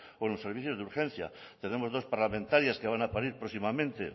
o en los servicios de urgencia tenemos dos parlamentarias que van a parir próximamente